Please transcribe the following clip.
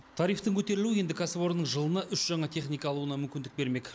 тарифтің көтерілуі енді кәсіпорынның жылына үш жаңа техника алуына мүмкіндік бермек